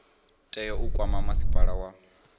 tea u kwama masipala wa